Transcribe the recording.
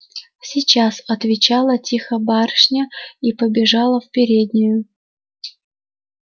сейчас отвечала тихо барышня и побежала в переднюю